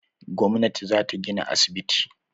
Gwamnati za ta gina asibiti.